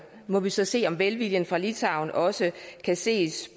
må vi så se om velviljen fra litauen også kan ses